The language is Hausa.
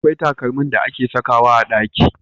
Akwai takalmin da ake sakawa a ɗaki.